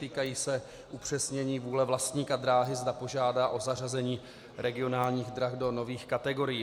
Týkají se upřesnění vůle vlastníka dráhy, zda požádá o zařazení regionálních drah do nových kategorií.